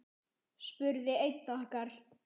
spurði einn okkar.